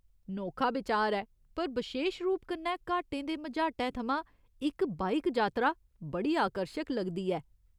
नोखा बिचार ऐ, पर बशेश रूप कन्नै घाटें दे मझाटै थमां इक बाइक जातरा बड़ी आकर्शक लगदी ऐ।